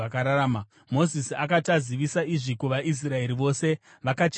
Mozisi akati azivisa izvi kuvaIsraeri vose, vakachema zvikuru.